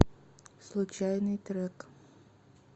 случайный трек